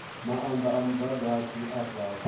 maanda a mudagasi a fhasi